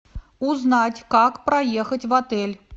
узнать как проехать в отель